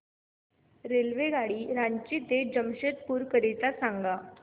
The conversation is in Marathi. रेल्वेगाडी रांची ते जमशेदपूर करीता सांगा